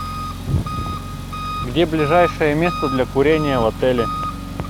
где ближайшее место для курения в отеле